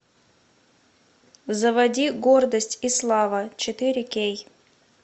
заводи гордость и слава четыре кей